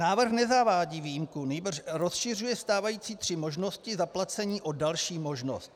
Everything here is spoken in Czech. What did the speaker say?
Návrh nezavádí výjimku, nýbrž rozšiřuje stávající tři možnosti zaplacení o další možnost.